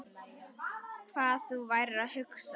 Hvað þú værir að hugsa.